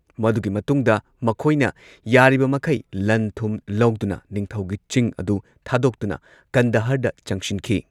ꯃꯗꯨꯒꯤ ꯃꯇꯨꯡꯗ ꯃꯈꯣꯏꯅ ꯌꯥꯔꯤꯕꯃꯈꯩ ꯂꯟ ꯊꯨꯝ ꯂꯧꯗꯨꯅ ꯅꯤꯡꯊꯧꯒꯤ ꯆꯤꯡ ꯑꯗꯨ ꯊꯥꯗꯣꯛꯇꯨꯅ ꯀꯟꯗꯍꯔꯗ ꯆꯪꯁꯤꯟꯈꯤ꯫